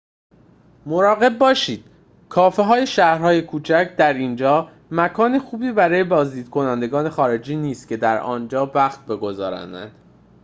مراقب باشید کافه‌های شهرهای کوچک در اینجا مکان خوبی برای بازدید کنندگان خارجی نیست که در آنجا وقت بگذرانند